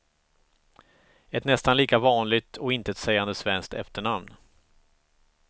Ett nästan lika vanligt och intetsägande svenskt efternamn.